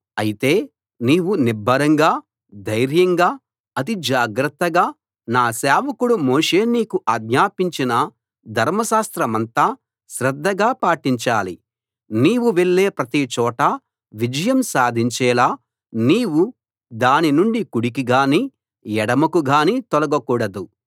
అయితే నీవు నిబ్బరంగా ధైర్యంగా అతి జాగ్రత్తగా నా సేవకుడు మోషే నీకు ఆజ్ఞాపించిన ధర్మశాస్త్రమంతా శ్రద్ధగా పాటించాలి నీవు వెళ్ళే ప్రతి చోటా విజయం సాధించేలా నీవు దాని నుండి కుడికి గాని ఎడమకు గాని తొలగకూడదు